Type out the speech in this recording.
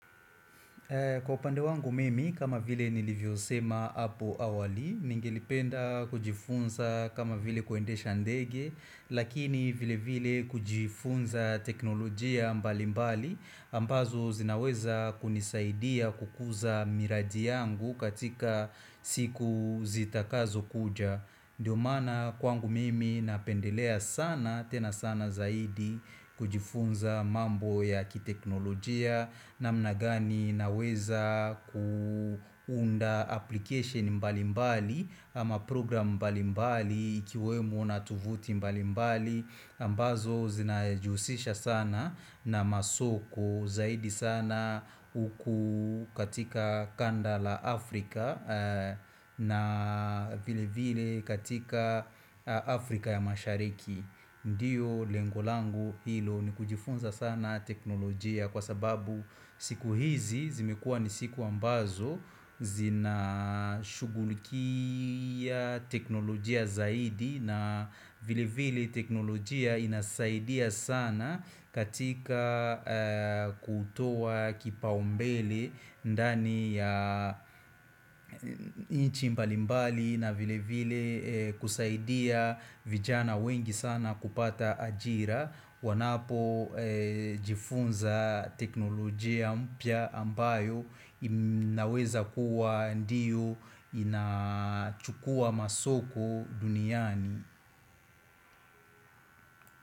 Kwa upande wangu mimi, kama vile nilivyosema apo awali, ningelipenda kujifunza kama vile kuendesha ndege, lakini vile vile kujifunza teknolojia mbali mbali, ambazo zinaweza kunisaidia kukuza miradi yangu katika siku zitakazo kuja. Ndio maana kwangu mimi napendelea sana tena sana zaidi kujifunza mambo ya kiteknolojia na namna gani naweza kuunda application mbalimbali ama program mbalimbali ikiwemo na tuvuti mbali mbali ambazo zinajihusisha sana na masoko zaidi sana huku katika kanda la Afrika na vile vile katika Afrika ya mashariki Ndiyo lengo langu hilo ni kujifunza sana teknolojia kwa sababu siku hizi zimekuwa ni siku ambazo zina shughulikia teknolojia zaidi na vile vile teknolojia inasaidia sana katika kutoa kipaumbele ndani ya nchi mbalimbali na vile vile kusaidia vijana wengi sana kupata ajira wanapo jifunza teknolojia mpya ambayo inaweza kuwa ndiyo inachukua masoko duniani.